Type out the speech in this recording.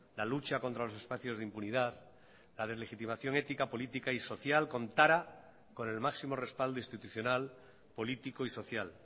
la lucha contra los espacios de impunidad la deslegitimación ética política y social contará con el máximo respaldo institucional político y social